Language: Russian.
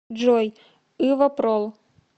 джой ывапрол